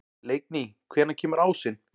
Leikný, hvenær kemur ásinn?